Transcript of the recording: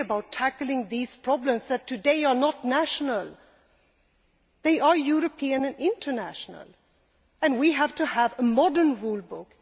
It is really about tackling these problems, which today are not national. They are European and international, and we have to have a modern rule book.